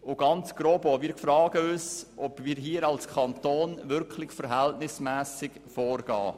Grundsätzlich fragen wir uns, ob wir als Kanton wirklich verhältnismässig vorgehen.